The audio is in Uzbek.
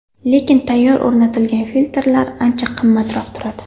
Lekin tayyor o‘rnatilgan filtrlar ancha qimmatroq turadi.